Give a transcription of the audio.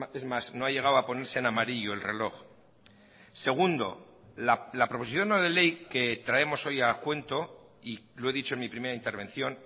es más no ha llegado a ponerse en amarillo el reloj segundo la proposición no de ley que traemos hoy a cuento y lo he dicho en mi primera intervención